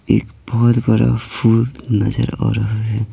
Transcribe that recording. एक बहुत बड़ा फूल नजर आ रहा है।